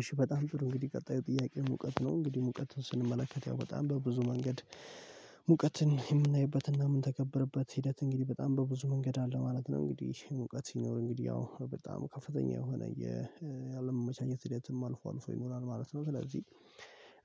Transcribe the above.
እሺ በጣም ጥሩ እንግዲህ ቀጣዩ ጥያቄ ሙቀት ነው እንግዲህ ሙቀት ስንመለከት ያው በጣም በብዙ መንገድ ሙቀትን የምናይበትና ምንተገብርበት ሂደት እንግዲህ በጣም በብዙ መንገድ አለ ማለት ነው። እንግዲህ ሙቀት ሲኖር እንግዲህ ያው በጣም ከፍተኛ የሆነ ያለመመቻቸት ሂደትም አልፎ አልፎ ይኖራል ማለት ነው። ስለዚህ